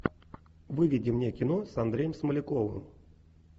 выведи мне кино с андреем смоляковым